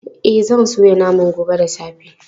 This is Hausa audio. E, zan soya naman gobe da safe.